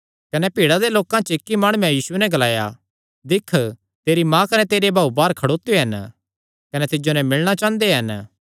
कने भीड़ा दे लोकां च इक्की माणुये यीशुये नैं ग्लाया दिक्ख तेरी माँ कने तेरे भाऊ बाहर खड़ोत्यो हन कने तिज्जो नैं मिलणा चांह़दे हन